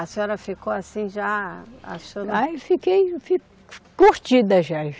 A senhora ficou assim já, a senhora. Ai, fiquei curtida já.